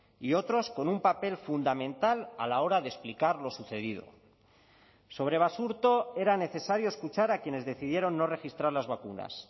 y otros con un papel fundamental a la hora de explicar lo sucedido sobre basurto era necesario escuchar a quienes decidieron no registrar las vacunas